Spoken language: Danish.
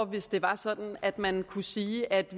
hvis det var sådan at man kunne sige at